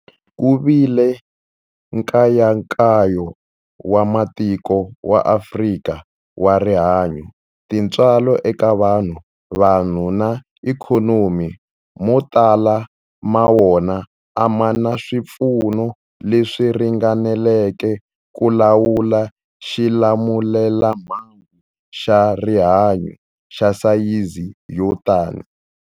Ku vile nkayakayo wa matiko ya Afrika wa rihanyu, tintswalo eka vanhu, vanhu na ikhonomi, mo tala ma wona a ma na swipfuno leswi ringaneleke ku lawula xilamulelamhangu xa rihanyu xa sayizi yo tani.